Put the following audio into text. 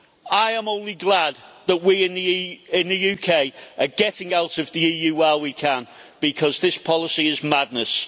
I am only glad that we in the UK are getting out of the EU while we can, because this policy is madness.